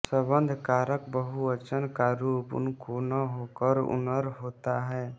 संबंध कारक बहुवचन का रूप उनको न होकर उनर होता है